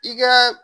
I kɛ